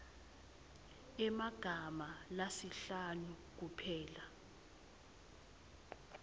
emagama lasihlanu kuphela